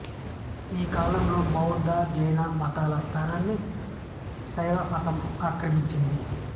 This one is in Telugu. ఈ కాలంలో బౌద్ధ జైన మతాల స్థానాన్ని శైవ మతం ఆక్రమించింది